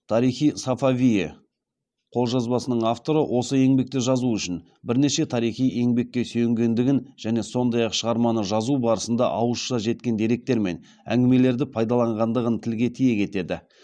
тарих и сафавие қолжазбасының авторы осы еңбекті жазу үшін бірнеше тарихи еңбекке сүйенгендігін және сондай ақ шығарманы жазу барысында ауызша жеткен деректер мен әңгімелерді пайдаланғандығын тілге тиек етеді